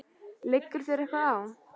Liggur þér eitthvað á?